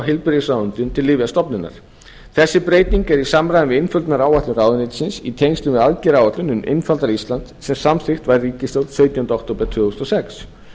heilbrigðisráðuneytinu til lyfjastofnunar þessi breyting er í samræmi við einföldunaráætlun ráðuneytisins í tengslum við aðgerðaáætlun um einfaldara ísland sem samþykkt var í ríkisstjórn sautjánda október tvö þúsund og sex